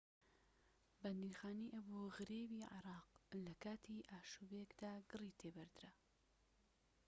بەندیخانەی ئەبو غرێبی عێراق لە کاتی ئاشوبێکدا گڕی تێبەردرا